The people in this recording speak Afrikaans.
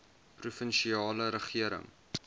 provinsiale regering